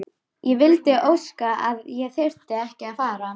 Ég vildi óska að ég þyrfti ekki að fara.